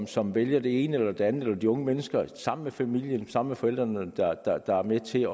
som vælger det ene eller det andet altså de unge mennesker sammen med familien sammen med forældrene der er med til